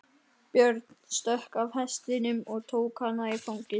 Björn stökk af hestinum og tók hana í fangið.